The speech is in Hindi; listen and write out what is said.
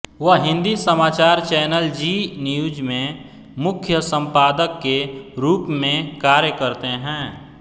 वह हिन्दी समाचार चैनल ज़ी न्यूज़ में मुख्य सम्पादक के रूप में कार्य करते हैं